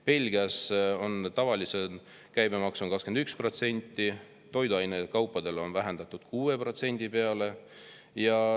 Belgias on tavaliselt käibemaks 21%, toidukaupadel on see vähendatud 6% peale.